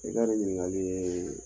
I ka nin ɲiningali ye